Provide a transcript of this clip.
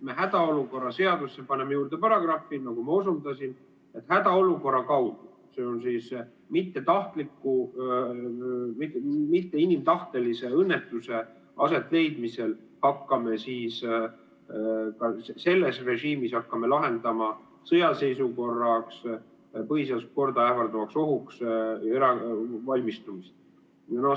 Me hädaolukorra seadusesse paneme juurde paragrahvi, nagu ma osundasin, et hädaolukorra kaudu, s.o mittetahtliku, mitte inimtahtelise õnnetuse asetleidmisel me hakkame selles režiimis lahendama sõjaseisukorraks, põhiseaduslikku korda ähvardavaks ohuks valmistumist.